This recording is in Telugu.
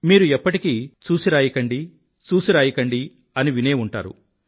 మీరు ఎప్పటికీ చూసిరాయకండి చూసిరాయకండి అని వినేఉంటారు